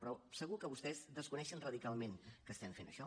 però segur que vostès desconeixen radicalment que estem fent això